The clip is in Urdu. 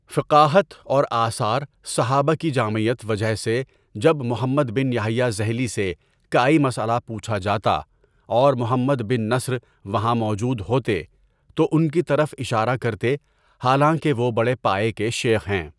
فقاہت اور آثار صحابہ کی جامعیت وجہ سے جب محمد بن یحییٰ ذہلی سے کائی مسئلہ پوچھا جاتا اور محمد بن نصر وہاں موجود ہوتے، تو ان کی طرف اشارہ کرتے حالانکہ وہ بڑے پایہ کے شیخ ہیں.